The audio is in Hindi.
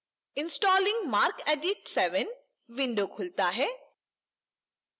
installing marcedit 7 window खुलता है